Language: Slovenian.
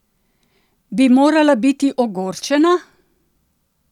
Bi morala biti ogorčena?